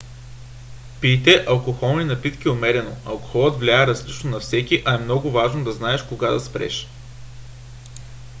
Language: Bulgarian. пийте алкохолни напитки умерено. алкохолът влияе различно на всеки а е много важно да знаеш кога да спреш